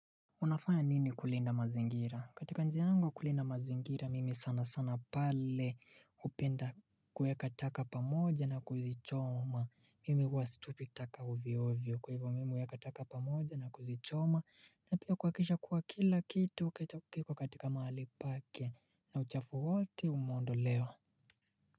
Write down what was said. Unafanya nini kulinda mazingira? Katika njia angu kulinda mazingira mimi sana sana pale hupenda kueka taka pamoja na kuzichoma. Mimi hua situpitaka ovyo ovyo kwa hivo mimi ueka taka pamoja na kuzichoma na pia kuakisha kuwa kila kitu ukechakiko katika mahali pake na uchafu wote umeondoewa.